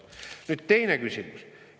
Nüüd teine küsimus.